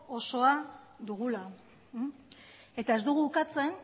osoa dugula ez dugu ukatzen